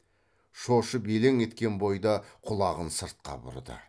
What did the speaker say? шошып елең еткен бойда құлағын сыртқа бұрды